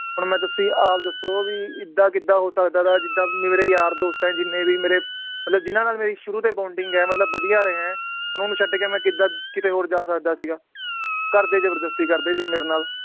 ਹੁਣ ਮੈ ਤੁਸੀਂ ਆਪ ਦੱਸੋ ਵੀ ਏਦਾਂ ਕਿਦਾਂ ਹੋ ਸਕਦਾ ਵਾ ਜਿਦਾਂ ਮੇਰੇ ਯਾਰ ਦੋਸਤ ਆ ਜਿੰਨੇ ਵੀ ਮੇਰੇ ਮਤਲਬ ਜਿਨਾਂ ਨਾਲ ਮੇਰੀ ਸ਼ੁਰੂ ਤੋਂ ਹੀ bonding ਏ ਮਤਲਬ ਵਧੀਆ ਰਿਹਾ ਏ ਉਹਨਾਂ ਨੂੰ ਛੱਡ ਕੇ ਮੈ ਕਿਦਾਂ ਕਿਤੇ ਹੋਰ ਜਾ ਸਕਦਾ ਸੀਗਾ, ਘਰਦੇ ਜ਼ਬਰਦਸਤੀ ਕਰਦੇ ਸੀ ਮੇਰੇ ਨਾਲ